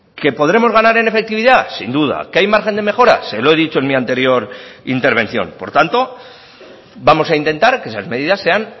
que podremos ganar en efectividad sin duda qué hay margen de mejora se lo he dicho en mi anterior intervención por tanto vamos a intentar que esas medidas sean